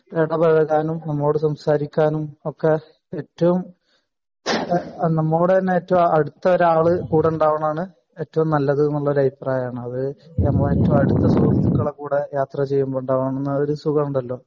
അപ്പൊ കാരണം നമ്മളോട് സംസാരിക്കാനും ഒക്കെ ഏറ്റവും നമ്മളോട് തന്നെ ഏറ്റവും അടുത്ത ഒരാള് കൂടെ ഉണ്ടാവാണം എന്നാണ് ഈടാവ്ഉം നല്ലത് എന്നുള്ള ഒരു അഭിപ്രായം ആണ് അത് ഇപ്പൊ നമ്മുടെ ഏറ്റവും അടുത്ത സുഹൃത്തുക്കളെ കൂടെ യാത്ര ചെയ്യുമ്പോ ഉണ്ടാവുന്ന ഒരു സുഖം ഉണ്ടല്ലോ